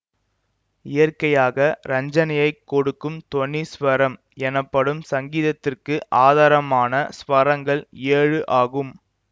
இயற்கையாக ரஞ்சனையை கொடுக்கும் தொனி ஸ்வரம் எனப்படும் சங்கீதத்திற்கு ஆதாரமான ஸ்வரங்கள் ஏழு ஆகும்